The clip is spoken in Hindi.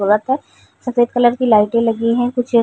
सफ़ेद कलर की लाइटे लगीं हैं। कुछ --